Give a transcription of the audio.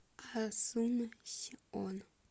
асунсьон